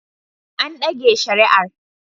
An dage shari'ar